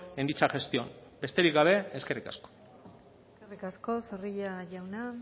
en dicha gestión besterik gabe eskerrik asko eskerrik asko zorrilla jauna